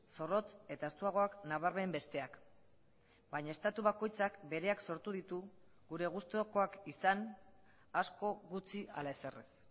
zorrotz eta estuagoak nabarmen besteak baina estatu bakoitzak bereak sortu ditu gure gustukoak izan asko gutxi ala ezer ez